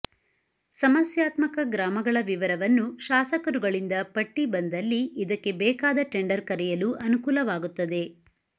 ಸಮಸ್ಯಾತ್ಮಕ ಗ್ರಾಮಗಳ ವಿವರವನ್ನು ಶಾಸಕರುಗಳಿಂದ ಪಟ್ಟಿ ಬಂದಲ್ಲಿ ಇದಕ್ಕೆ ಬೇಕಾದ ಟೆಂಡರ್ ಕರೆಯಲು ಅನುಕೂಲವಾಗುತ್ತದೆ